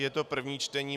Je to první čtení.